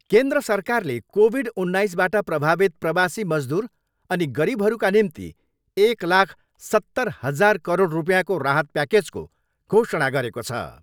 केन्द्र सरकारले कोभिड उन्नाइसबाट प्रभावित प्रवासी मजदुर अनि गरिबहरूका निम्ति एक लाख सत्तर हाजार करोड रुपियाँको राहत प्याकेजको घोषणा गरेको छ।